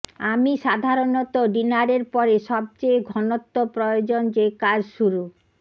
আমি সাধারণত ডিনারের পরে সবচেয়ে ঘনত্ব প্রয়োজন যে কাজ শুরু